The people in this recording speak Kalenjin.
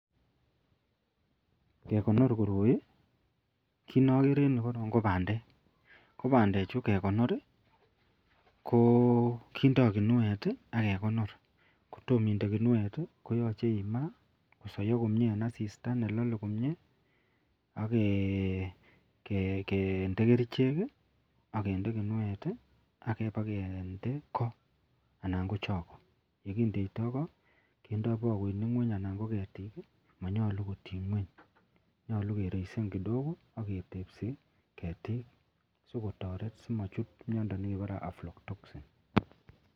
Kegonor koroi, ako kit neagere en ireyu ko bandek kobandek Chu kegonor kokindi kinuet ak kekonor kotomo inde kinuet koyache kema kosai komie en asista nelale komie akende kerchek akende kinuet akeba kende ko anan ko chako kendo bakoinik ngweny anan ko ketik manyalu kotin ngweny nyalu kereisen kidigo agetebsibketik sikotaret amachut miando nekebare flowtoxin